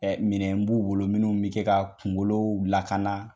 Ɛ minɛn b'u wolo minnu bɛ se ka kunkolo lakana